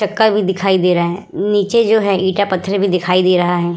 चक्का भी दिखाई दे रहा है नीचे जो है ईटा पत्थर भी दिखाई दे रहा है।